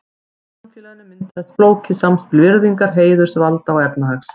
Í samfélaginu myndaðist flókið samspil virðingar, heiðurs, valda og efnahags.